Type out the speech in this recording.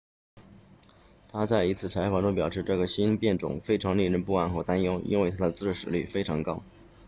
他在一次采访中表示这个新变种非常令人不安和担忧因为它的致死率非常高